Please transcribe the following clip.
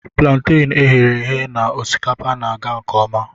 Plantain e ghere eghe na osikapa na-aga nke ọma